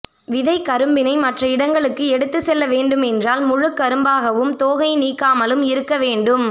விதைக்கரும்பினை மற்ற இடங்களுக்கு எடுத்து செல்ல வேண்டும் என்றால் முழு கரும்பாகவும் தோகை நீக்காமலும் இருக்க வேண்டும்